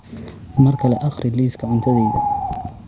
mar kale akhri liiska cuntadayda